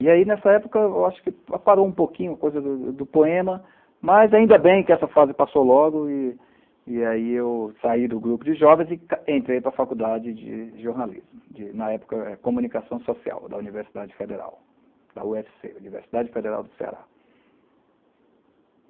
E aí, nessa época, eu acho que aparou um pouquinho a coisa do do poema, mas ainda bem que essa fase passou logo, e e aí eu saí do grupo de jovens e entrei para a faculdade de jornalismo, de na época, Comunicação Social, da Universidade Federal, da ú efe cê Universidade Federal do Ceará.